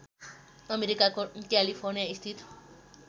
अमेरिकाको क्यालिफोर्नियास्थित